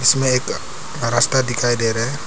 इसमें एक रस्ता दिखाई दे रहा है।